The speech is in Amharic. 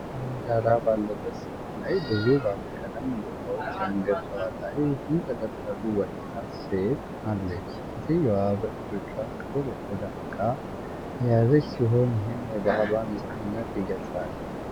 የጨለመ ዳራ ባለበት ስዕል ላይ ብዙ ባለቀለም ዶቃዎች ያንገቷ ላይ የተንጠለጠሉ ወጣት ሴት አለች። ሴትየዋ በእጆቿ ጥቁር የቆዳ ዕቃ የያዘች ሲሆን ይህም የባሕሏን ነፃነት ይገልጻል።